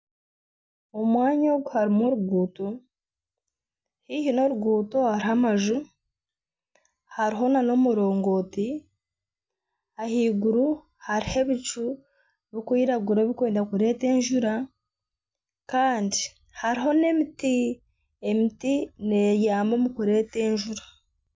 Omwanya ogu harimu oruguuto haihi n'oruguuto harimu amaju hariho nana omurongooti ahaiguru hariho ebicu birikwiragura birikwenda kureeta enjura Kandi hariho n'emiti n'eyamba omu kureeta enjura